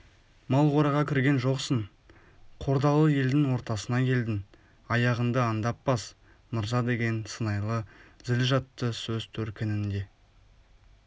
мал қораға кірген жоқсың қордалы елдің ортасына келдің аяғыңды аңдап бас мырза деген сыңайлы зіл жатты сөз төркінінде